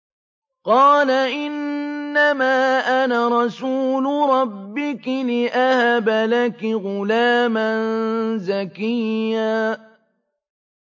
قَالَ إِنَّمَا أَنَا رَسُولُ رَبِّكِ لِأَهَبَ لَكِ غُلَامًا زَكِيًّا